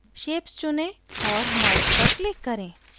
shapes चुनें और merge पर click करें